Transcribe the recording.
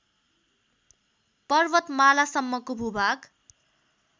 पर्वतमालासम्मको भूभाग